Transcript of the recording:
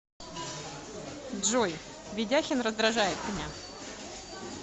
джой ведяхин раздражает меня